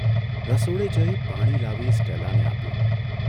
રસોડે જઇ પાણી લાવી સ્ટેલાને આપ્યું.